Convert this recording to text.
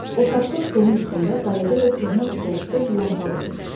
Otaqda stolun üstündə balaca və köhnə stolüstü lampa qoyulmuşdu.